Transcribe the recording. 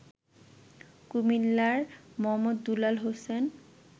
কুমিল্লার মো. দুলাল হোসেন